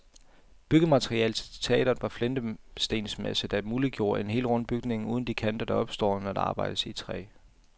Byggematerialet til teatret var flintestensmasse, der muliggjorde en helt rund bygning uden de kanter der opstår, når der arbejdes i træ.